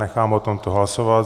Nechám o tomto hlasovat.